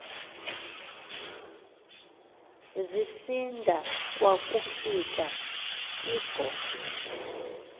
zisinda kwakufika ingozi